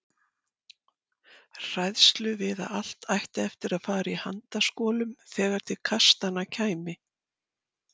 Hræðslu við að allt ætti eftir að fara í handaskolum þegar til kastanna kæmi.